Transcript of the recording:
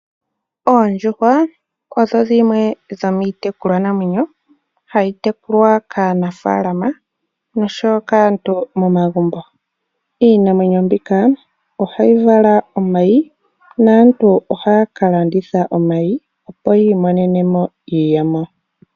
Oondjuhwa odho dhimwe dhomiitekulwa namwenyo ha yi tekulwa kaanafalama nosho wo kaantu momagumbo. Iinamwenyo mbika oha yi vala omayi, naantu oha ya kalanditha omayi opo yiimonene mo iiyemo.